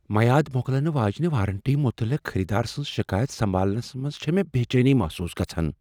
میعاد مۄکلنہ واجنہ وارنٹی متعلقخریدار سٕنٛز شکایت سمبھالنس منٛز چھےٚ مےٚ بے چینی محسوٗس گژھان۔